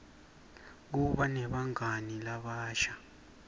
kuba negangani labasha